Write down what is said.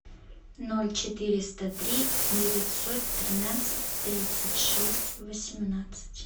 ноль четыреста три девятьсот тринадцать тридцать шесть восемнадцать